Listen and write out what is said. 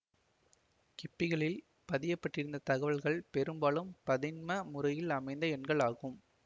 கிப்பிகளில் பதியப்பட்டிருந்த தகவல்கள் பெரும்பாலும் பதின்ம முறையில் அமைந்த எண்கள் ஆகும்